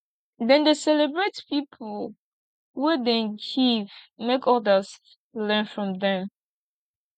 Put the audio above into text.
dem dey celebrate pipo wey dey give make odas learn from dem